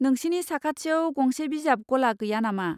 नोंसिनि साखाथियाव गंसे बिजाब गला गैया नामा?